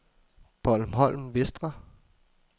Bornholm Vestre